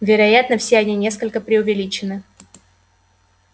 вероятно все они несколько преувеличены